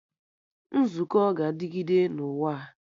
Nzukọ ga-adịgịde na ụwa a